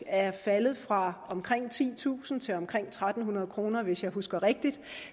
er faldet fra omkring titusind til omkring tre hundrede kr hvis jeg husker rigtigt